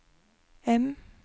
M